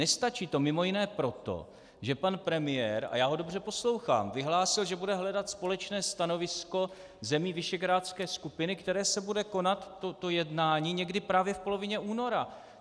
Nestačí to mimo jiné proto, že pan premiér, a já ho dobře poslouchám, vyhlásil, že bude hledat společné stanovisko zemí visegrádské skupiny, které se bude konat, to jednání, někdy právě v polovině února.